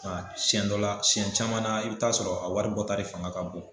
siyɛn dɔ la siyɛn caman na i bɛ taa sɔrɔ a wari bɔta de fanga ka bon.